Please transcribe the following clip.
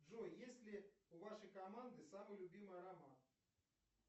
джой есть ли у вашей команды самый любимый роман